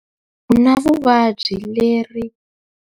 U na vuvabyi leri.